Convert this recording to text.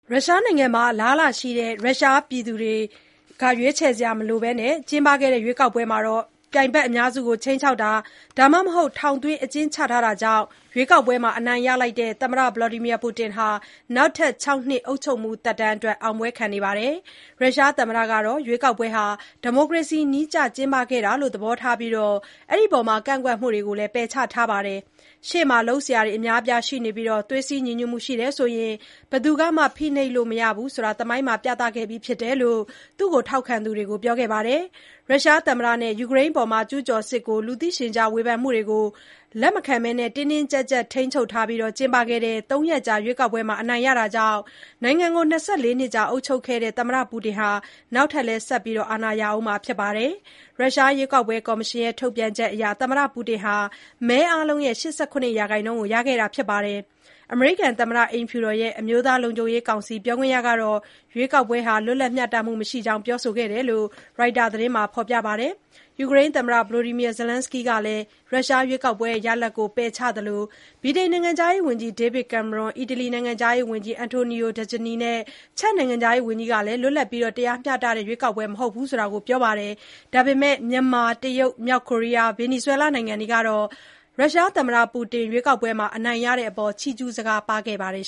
ရုရှားနိုင်ငံမှာ အလားအလာရှိတဲ့ ပြိုင်ဘက်အများစုကို ခြိမ်းခြောက်တာ ဒါမှမဟုတ် ထောင်သွင်း အကျဉ်းချထားတာကြောင့် မဲဆန္ဒရှင်တွေ ရွေးချယ်စရာမရှိဘဲ ကျင်းပခဲ့တဲ့ ရွေးကောက်ပွဲမှာ အနိုင်ရလိုက်တဲ့ သမ္မတ Vladimir Putin ဟာ နောက်ထပ် ၆ နှစ် အုပ်ချုပ်မှု သက်တမ်းအတွက် အောင်ပွဲခံခဲ့ပါတယ်။ ရုရှားသမ္မတကတော့ ရွေးကောက်ပွဲဟာ ဒီမိုကနေစီနည်းကျ ကျင်းပခဲ့တာလို့ သဘောထားခဲ့ပြီး၊ ကန့်ကွက်မှုတွေကိုလည်း ပယ်ချခဲ့ပါတယ်။ ရှေ့မှာ လုပ်စရာတွေ အများအပြားရှိနေပြီး၊ သွေးစည်းညီညွှတ်မှု ရှိတယ်ဆိုရင် ဘယ်သူကမှ ဖိနှိပ်လို့မရဘူးဆိုတာ သမိုင်းမှာ ပြသခဲ့ပြီးဖြစ်တယ်လို့လည်း ထောက်ခံသူတွေကို ပြောခဲ့တာပါ။ ရုရှားသမ္မတနဲ့၊ ယူကရိန်းအပေါ် ကျုးကျော်စစ်ကို လူသိရှင်ကြား ဝေဖန်မှုတွေကို လက်မခံဘဲ တင်းတင်းကျပ်ကျပ် ထိန်းချုပ်ထားပြီး ကျင်းပခဲ့တဲ့ ၃ ရက်ကြာ ရွေးကောက်ပွဲမှာ အနိုင်ရတာကြောင့် ၂၄ နှစ်ကြာ အုပ်ချုပ်နေတဲ့ သမ္မတပူတင် နောက်ထပ် ဆက်ပြီး အာဏာရဦးမှာ ဖြစ်ပါတယ်။ ရုရှားရွေးကောက်ပွဲ ကော်မရှင်ရဲ့ ထုတ်ပြန်ချက်အရ သမ္မတပူတင်က မဲအားလုံးရဲ့ ၈၇ ရာခိုင်နှုန်း ရခဲ့တာပါ။ အမေရိကန် သမ္မတအိမ်ဖြူတော် အမျိုးသားလုံခြုံရေးကောင်စီ ပြောခွင့်ရကတော့ ရွေးကောက်ပွဲဟာ လွတ်လပ်မျှတမှု မရှိကြောင်း ပြောဆိုခဲ့တယ်လို့လည်း Reuters သတင်းက ဖော်ပြပါတယ်။ ယူကရိန်းသမ္မတ Volodymyr Zelensky ကလည်း ရွေးကောက်ပွဲ ရလဒ်ကို ပယ်ချခဲ့သလို၊ ဗြိတိန်နိုင်ငံခြားရေးဝန်ကြီး ဒေးဗစ်ကင်မရွန်း၊ အီတလီနိုင်ငံခြားရေးဝန်ကြီး Antonio Tajani နဲ့ ချက်နိုင်ငံခြားရေးဝန်ကြီး Jan Lipavsky တို့ကလည်းလွတ်လပ်ပြီး တရားမျှတတဲ့ ရွေးကောက်ပွဲ မဟုတ်ဘူးလို့ ပြောပါတယ်။ မြန်မာ၊ တရုတ်၊ မြောက်ကိုရီးယား၊ ဗင်နီဇွဲလား စတဲ့နိုင်ငံတွေကတော့ သမ္မတပူတင် ရွေးကောက်ပွဲ အနိုင်ရတဲ့အပေါ် ချီးကျုးစကားပါးခဲ့ကြပါတယ်